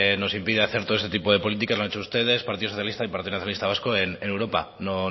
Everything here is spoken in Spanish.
nos impide hacer todo ese tipo de políticas lo han hecho ustedes partido socialista y partido nacionalista vasco en europa no